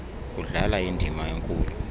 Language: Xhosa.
kudlala indima enkulu